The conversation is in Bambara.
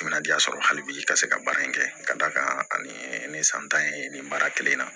Minadiya sɔrɔ hali bi ka se ka baara in kɛ ka da kan ani san tan ye nin baara kelen in na